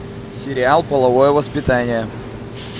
сериал половое воспитание